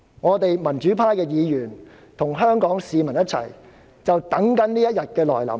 我們民主派議員與香港市民正等待這一天來臨。